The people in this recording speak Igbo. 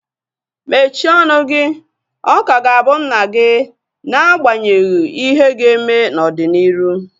Mechie ọnụ gị! Ọ ka ga-abụ nna gị n'agbanyeghị ihe ga-eme n'ọdịnihu